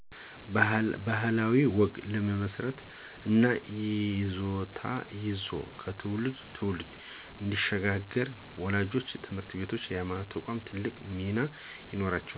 ባህላዊ ወግን ለመመስረት እና ይዞታው ይዞ ከትውልድ ትውልድ እንዲሽጋገር ወላጆች፣ ትምህርት ቤቶች እና የሀይማኖት ተቋማት ትልቅ ሚና ይኖራቸዋል።